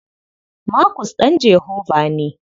Markus ɗan Jehovah ne.